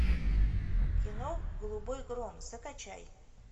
кино голубой гром закачай